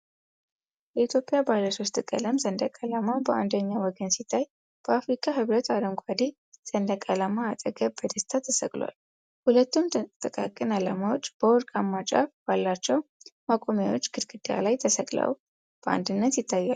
የኢትዮጵያ ባለሶስት ቀለም ሰንደቅ ዓላማ በአንደኛው ወገን ሲታይ፤ በአፍሪካ ሕብረት አረንጓዴ ሰንደቅ ዓላማ አጠገብ በደስታ ተሰቅሏል። ሁለቱም ጥቃቅን ዓላማዎች በወርቃማ ጫፍ ባላቸው ማቆሚያዎች ግድግዳ ላይ ተሰቅለው በአንድነት ይታያሉ።